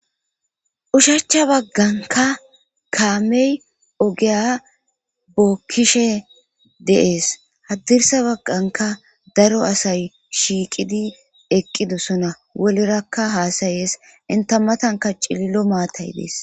Nshacha bagganka kaamey ogeya bookkishe deees haddirsa bagganka daro asay shiiqidi eqqidosona wolerakka haasayees inta matanka cillo maatay dees